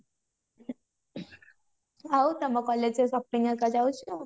ଆଉ ତମ collage ରେ shopping ଘରିକା ଜାଉଛ